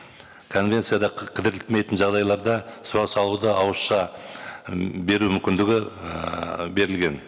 конвенцияда жағдайларда сұраныс алуды ауызша м беру мүмкіндігі ііі берілген